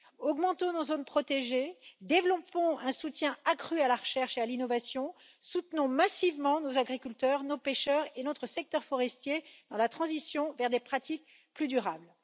Augmentons nos zones protégées, développons un soutien accru à la recherche et à l'innovation, soutenons massivement nos agriculteurs, nos pêcheurs et notre secteur forestier dans la transition vers des pratiques plus durables.